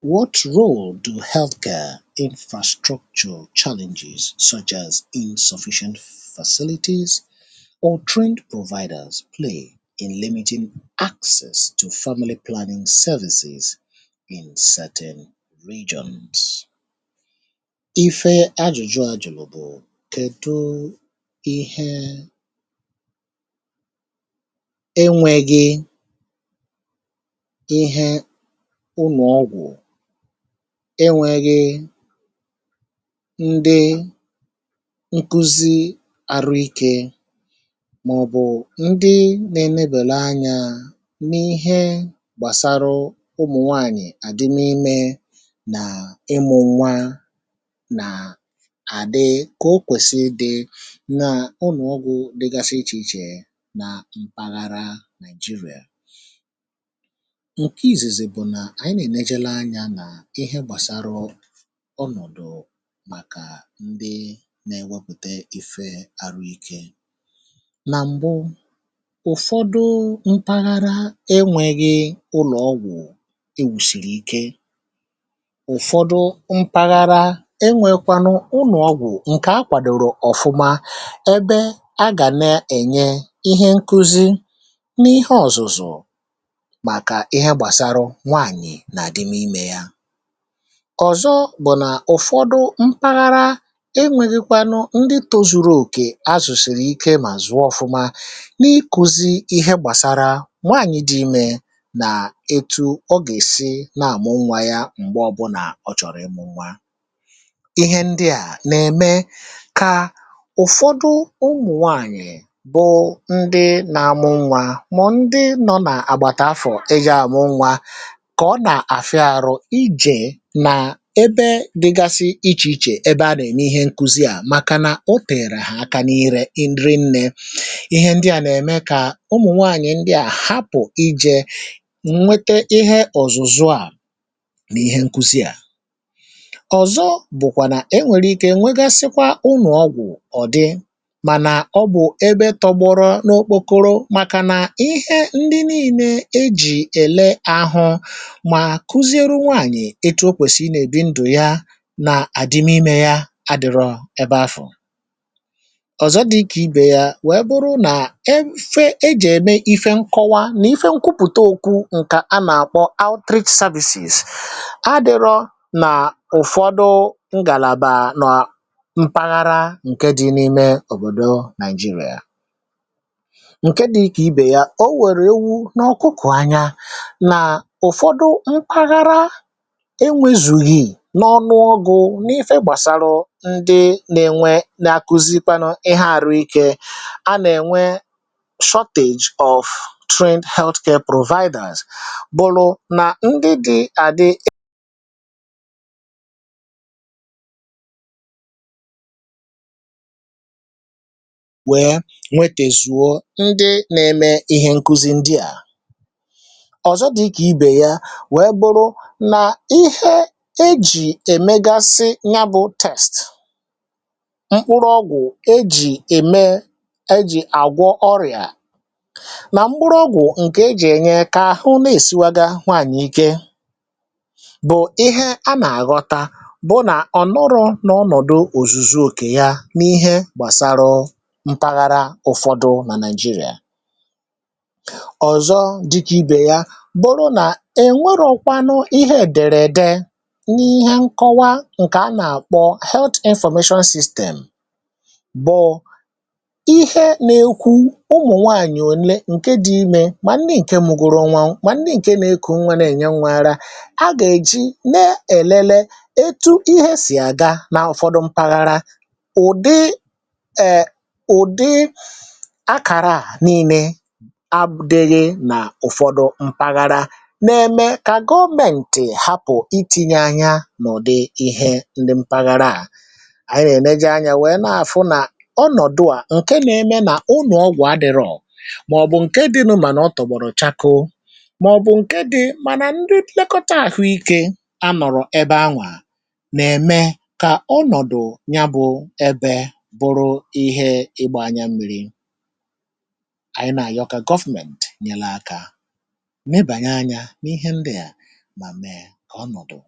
What role do healthcare infrastructure challenges such as insufficient facilities or trained providers play in limiting access to family planning services in certain regions? Ife ajụjụ a jụlụ bụ kedu ihe enweghi ụlọ ọgwu enweghi ndị nkuzi arụ ike màọ̀bụ̀ ndị na-enebèla anya n’ihe gbàsara ụmụ̀nwaànyì àdịm̀ ime nà ịmụ nwa nà àdị kà o kwèsì idị nà ụnọ ọgwụ̀ dịgasi ichè ichè nà mpàgara Nigeria. Nke izizi bụ na ànyị nà-èneje lee anya nà ihe gbàsara ọnọ̀dụ̀ màkà ndị na-ewepùte ife àrụ ike. Nà m̀bụ ụ̀fọdụ mpaghara enweghi ụlọ̀ ọgwụ̀ ewùsìrì ike ụ̀fọdụ mpaghara enweekwanụ ụlọ̀ ọgwụ̀ ǹkè akwàdòrò ọ̀fụma ebe a gà na-ènye ihe nkụzi n’ihe ọ̀zụ̀zụ̀ màkà ihe gbàsarụ nwaanyị na-adim ime ya. Ọzọ bụ̀ nà ụ̀fọdụ mpaghara enweghi̇kwanụ ndị tozùrù òkè azụ̀sìrì ike mà zụ̀ọ ọ̀fụma n’ikùzi ihe gbàsara nwaànyị̀ dị ime nà etu ọ gà-èsi nà-àmụ nwa ya m̀gbe ọbụnà ọ chọ̀rọ̀ ịmụ nwa. Ihe ndị à nà-ème kà ụ̀fọdụ ụmụ̀nwaànyị̀ bụ ndị na-amụ nwa mọ̀ ndị nọ nà àgbàtà afọ̀ eji̇ àmụ nwa nke ọ na-afịa arụ ịje nà ebe dịgasị ichè ichè ebe a nà ème ihe nkuzi à, màkànà o tèère hà aka ire rinne. Ihe ndị à nà-ème kà ụmụ̀ nwanyị̀ ndị à hapụ̀ ije nwete ihe ọ̀zụzụ̀ à nà ihe nkuzi à. Ọzọ bụ̀kwà nà e nwèrè ike nwegasịkwaa ụnọ̀ ọgwụ̀ ọ̀ dị mànà ọ bụ̀ ebe tọgbọrọ n’okpokoro màkànà ihe ndị nii̇ne e jì èle ahụ ma kụzieru nwaànyị̀ etu o kwèsì ị nà-èbi ndụ̀ ya nà àdịm ime ya adị̀rọ̀ ebe afù. Ọzọ dị ike ibè ya nwèe bụrụ nà e fee ejì ème ife nkọwa nà ife nkwụpụ̀ta òkwù ǹkà a nà-àkpọ outreach services adịrọ nà ụ̀fọdụ ngàlàbà nọ̀ọ mpaghara ǹke dị n’ime òbòdò Nigeria. Nke dị ikè ibè ya o wòrò ewu na ọkụkụ anya na ụfọdụ mpaghara enwezughi n’ọnụ ogù n’ife gbàsalụ ndị nà-enwe na-akuzikwanụ ihe àrụ ike a nà-ènwe shortage of trained healthcare providers bụ̀lụ̀ nà ndị dị̀ àdị wee nwetezùo ndị nà-eme ihe nkuzi ndị à. Ọzọ dị̀kà ibè ya wee buru na ihe ejì èmegasị nyabụ test, mkpụrụ ọgwụ̀ ejì ème ejì àgwọ ọrịà nà mkpụrụ ọgwụ̀ ǹkè ejì ènyè kà ahụ na-èsiwaga nwaànyị̀ ike, bụ̀ ihe a nà-àghọta bụ nà ọ̀ nọrọ n’ọnọ̀dụ òzùzù òkè ya n’ihe gbàsara mpaghara ụfọdụ nà Naịjirịà. Ọzọ dịkà ibè ya bưrụ na-enwerọkwanụ ihe ederede n’ihe nkọwa ǹkè a nà-àkpọ health information system bụ̀ ihe nà-ekwu ụmụ̀nwanyị̀ ole ǹke dị̇ ime mà ndị ǹke mụgoro nwa, mà ndị ǹke nà-ekù nwa na-enye nwa ara a gà-èji nà-èlele etu ihe sì àga n’ụ̀fọdụ mpaghara. Ụdị è ụ̀dị àkàra à niine adịghị n’ụ̀fọdụ mpaghara na-eme ka gọọmentị hapụ itinye anya n'ụdị ihe ndị mpaghara à. Anyị nà-èneje anya wèe nà-àfụ nà ọnọ̀dụ à ǹke na-eme nà unù ọgwụ̀ adị̇rọ̀ màọ̀bụ̀ ǹke dịnụ mànà ọtọ̀gbọ̀rụ̀ chakoo màọ̀bụ̀ ǹke dị mànà ndị nlekọta àhụike anọ̀rọ̀ ebe anwà nà-ème kà ọnọ̀dụ̀ nya bụ ebe bụrụ ihe ịgba anya mmi̇ri. Anyị na-àyọ kà, government nyela aka nebànye anya n’ihe ndị à ma mee ka ọnọdụ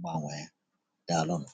gbanwe, daalu nu.